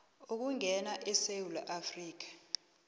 ukungena esewula afrika